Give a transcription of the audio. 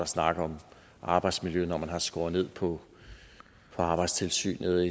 snakke om arbejdsmiljø når man har skåret ned på arbejdstilsynet